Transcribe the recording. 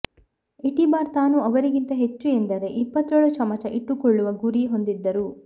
Etibar ತಾನು ಅವರಿಗಿಂತ ಹೆಚ್ಚು ಎಂದರೆ ಇಪ್ಪತ್ತೇಳು ಚಮಚ ಇಟ್ಟುಕೊಳ್ಳುವ ಗುರಿ ಹೊಂದಿದ್ದರು